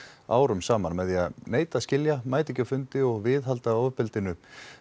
árum saman með því að neita að skilja mæta ekki á fundi og viðhalda ofbeldinu